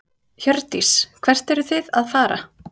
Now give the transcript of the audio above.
Hjördís: Hvert eruð þið að fara?